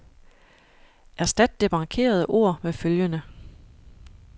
Erstat det markerede ord med følgende.